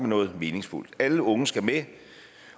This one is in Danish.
noget meningsfuldt alle unge skal med